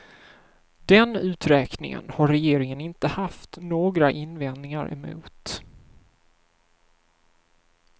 Den uträkningen har regeringen inte haft några invändningar emot.